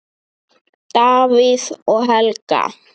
Davíð og Helga.